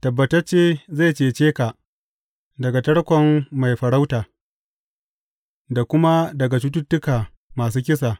Tabbatacce zai cece ka daga tarkon mai farauta da kuma daga cututtuka masu kisa.